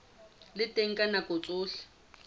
le teng ka nako tsohle